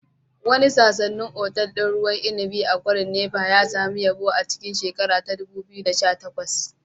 Wani sanannen otal ɗin ruwan inibi a kwarin Napa ya sami yabo a cikin 2018